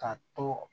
Ka to